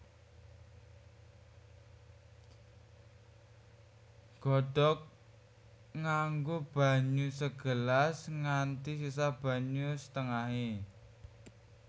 Godhog nganggo banyu segelas nganti sisa banyu setengahé